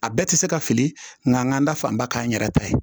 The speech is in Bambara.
A bɛɛ tɛ se ka fili nka n ka n da fan ba k'an yɛrɛ ta ye